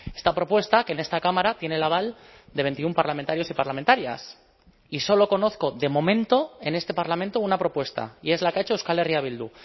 esta propuesta que en esta cámara tiene el aval de veintiuno parlamentarios y parlamentarias y solo conozco de momento en este parlamento una propuesta y es la que ha hecho euskal herria bildu